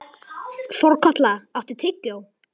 Þorkatla, áttu tyggjó?